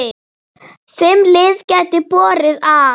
Fimm lið gætu borið af.